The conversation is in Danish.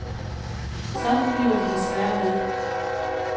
Sådan bliver det desværre ved.